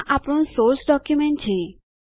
આ આપણું source document છે